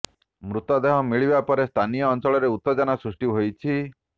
ମୃତଦେହ ମିଳିବା ପରେ ସ୍ଥାନୀୟ ଅଞ୍ଚଳରେ ଉତ୍ତେଜନା ସୃଷ୍ଟି ହୋଇଛି